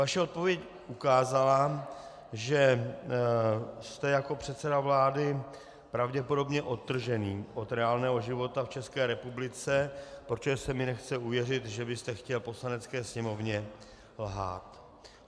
Vaše odpověď ukázala, že jste jako předseda vlády pravděpodobně odtržený od reálného života v České republice, protože se mi nechce uvěřit, že byste chtěl Poslanecké sněmovně lhát.